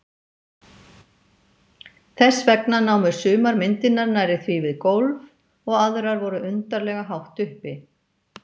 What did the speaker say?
Þess vegna námu sumar myndirnar nærri því við gólf og aðrar voru undarlega hátt uppi.